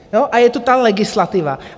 A je tu ta legislativa.